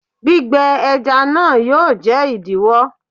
Gbígbẹ ẹja náà yóò jẹ́ ìdíwó.